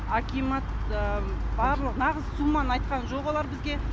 акимат барлық нағыз сумманы айтқан жоқ олар бізге